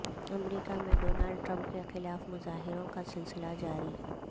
امریکہ میں Donald Trump کے خلاف مظاہروں کا سلسلہ جاری